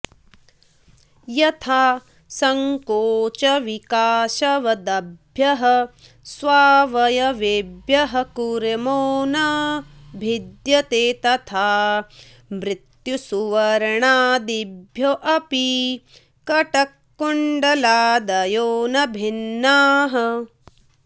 यथा सङ्कोचविकाशवद्भ्यः स्वावयवेभ्यः कूर्मो न भिद्यते तथा मृत्सुवर्णादिभ्योऽपि कटककुण्डलादयो न भिन्नाः